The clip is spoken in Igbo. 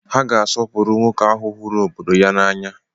Ha ga-asọpụrụ nwoke ahu huru obodo ya n'anya.